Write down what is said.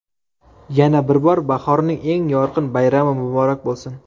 Yana bir bor, bahorning eng yorqin bayrami muborak bo‘lsin!